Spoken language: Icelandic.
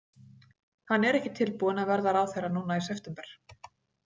Hann er ekki tilbúinn að verða ráðherra núna í september.